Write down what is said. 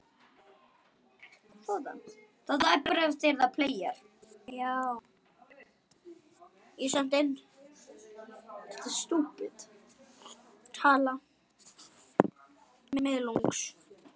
Liðið verður styrkt í sumar.